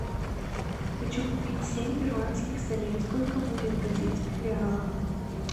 хочу купить семь перуанских солей сколько будет в бразильских реалах